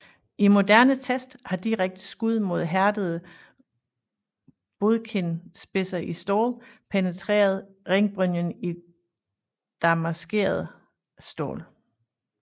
I moderne test har direkte skud med hærdede bodkinspidser i stål penetreret ringbrynje i damasceret stål